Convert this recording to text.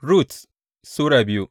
Rut Sura biyu